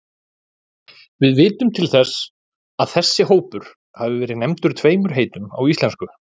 Við vitum til þess að þessi hópur hafi verið nefndur tveimur heitum á íslensku.